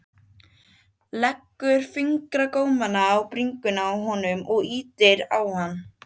Tommi slóst í hópinn og honum fannst eins og